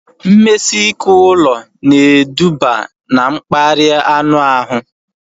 Mmesike ụlọ na eduba na mkparịa anụ ahụ